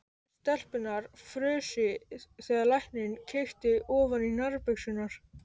Stelpurnar frusu þegar læknirinn kíkti ofan í nærbuxurnar.